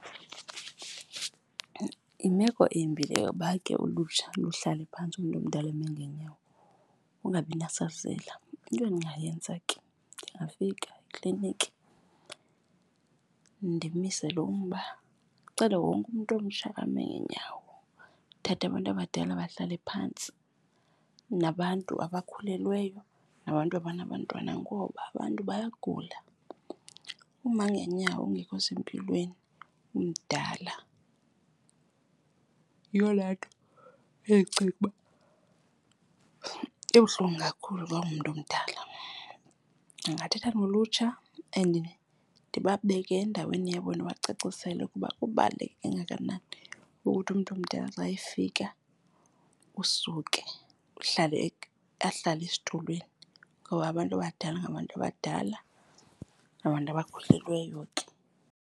Yimeko embi le yoba ke ulutsha luhlale phantsi umntu omdala eme ngeenyawo, ungabinasazela. Into endingayenza ke ndingafika ekliniki ndimise lo mba, ndicele wonke umntu omtsha ame ngeenyawo ndithathe abantu abadala bahlale phantsi nabantu abakhulelweyo nabantu abanabantwana. Ngoba abantu bayagula, uma ngeenyawo ungekho sempilweni umdala yiyo laa nto endicinga uba ibuhlungu kakhulu xa ungumntu omdala. Ndingathetha nolutsha and ndibabeke endaweni yabo ndibacacisele ukuba kubaluleke kangakanani ukuthi umntu omdala xa efika usuke ahlale esitulweni ngoba abantu abadala ngabantu abadala, nabantu abakhulelweyo ke.